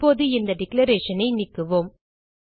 இப்போது இந்த டிக்ளரேஷன் ஐ நீக்குவோம்